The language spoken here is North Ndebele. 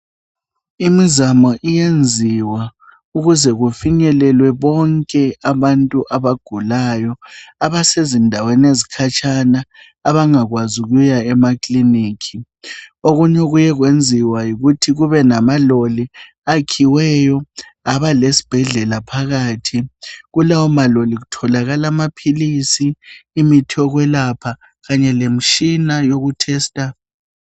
Imizamo iyenziwa ukuze kufinyelelwe bonke abantu abagulayo abasezindaweni ezikhatshana abangakwazi ukuya emakilinika okunye okuke kwenziwa yikuthi kube lamaloli ayakhiweyo aba lesibhedlela phakathi kulawo maloli kutholakala amaphilisi imithi yokwelapha kanye lemitshina yoku tester.